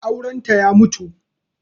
Aurenta ya mutu